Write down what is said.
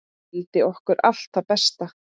Vildi okkur allt það besta.